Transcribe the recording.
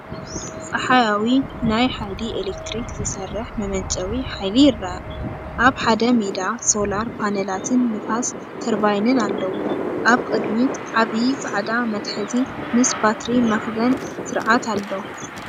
ጸሓያዊ ናይ ሓይሊ ኤሌክትሪክ ዝሰርሕ መመንጨዊ ሓይሊ ይርአ፣ ኣብ ሓደ ሜዳ ሶላር ፓነላትን ንፋስ ተርባይንን ኣለዎ። ኣብ ቅድሚት ዓቢይ ጻዕዳ መትሓዚ ምስ ባትሪ መኽዘን ስርዓት ኣሎ፣